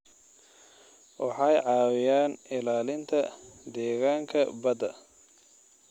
Waxay caawiyaan ilaalinta deegaanka badda.